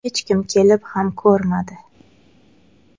Hech kim kelib ham ko‘rmadi.